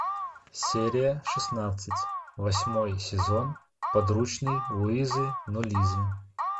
серия шестнадцать восьмой сезон подручный луизы нулизы